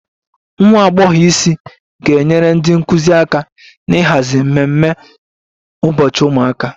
Nwa agbọghọ isi ga-enyere ndị nkụzi aka n'ịhazi ememe ụbọchị ụmụaka